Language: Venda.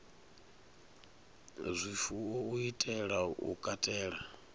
zwifuwo u itela u katela